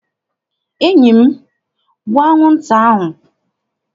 Enyi m, gbuo anwụnta ahụ!